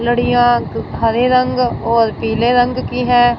लड़ियां हरे रंग और पीले रंग की हैं।